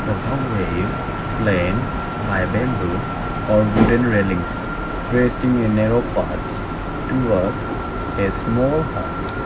The bamb ways flame by bamboo or wooden railings creating a narrow parts towards a small huts.